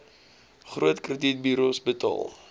groot kredietburos betaal